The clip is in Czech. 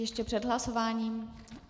Ještě před hlasováním?